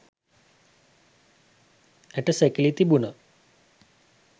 ඇටසැකිලි තිබුණා.